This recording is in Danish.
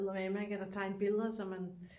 Eddermanme ikke eller tegne billeder så man